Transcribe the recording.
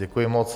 Děkuji moc.